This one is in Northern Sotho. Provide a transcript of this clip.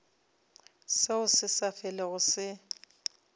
seo se sa felego se